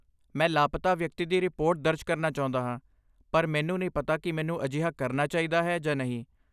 ਮੈਂ ਲਾਪਤਾ ਵਿਅਕਤੀ ਦੀ ਰਿਪੋਰਟ ਦਰਜ ਕਰਨਾ ਚਾਹੁੰਦਾ ਹਾਂ ਪਰ ਮੈਨੂੰ ਨਹੀਂ ਪਤਾ ਕਿ ਮੈਨੂੰ ਅਜਿਹਾ ਕਰਨਾ ਚਾਹੀਦਾ ਹੈ ਜਾਂ ਨਹੀਂ।